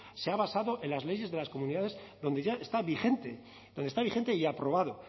se ha basado en las leyes de las comunidades donde ya está vigente donde está vigente y aprobado